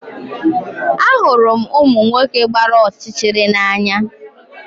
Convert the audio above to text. Ahụrụ m ụmụ nwoke gbara ọchịchịrị n'anya